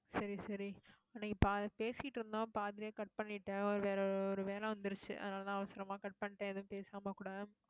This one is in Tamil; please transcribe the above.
சரி, சரி அன்னைக்கு ப~ பேசிட்டு இருந்தோம். பாதியிலேயே cut பண்ணிட்டேன். ஒரு வேற ஒரு வேலை வந்துருச்சு. அதனாலதான், அவசரமா cut பண்ணிட்டேன். எதுவும் பேசாம கூட